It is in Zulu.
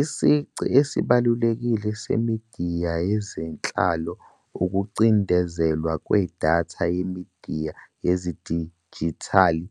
Isici esibalulekile semidiya yezenhlalo ukucindezelwa kwedatha yemidiya yedijithali,